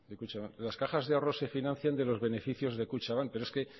las cajas de ahorros se financian de los beneficios de kutxabank pero es que